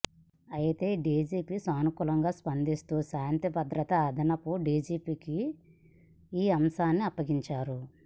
అయితే డీజీపీ సానుకూలంగా స్పందిస్తూ శాంతిభద్రతల అదనపు డీజీకి ఈ అంశాన్ని అప్పగించారు